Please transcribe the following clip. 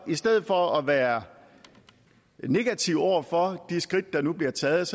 i stedet for at være negativ over for de skridt der nu bliver taget